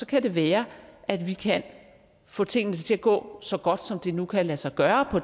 kan det være at vi kan få tingene til at gå så godt som det nu kan lade sig gøre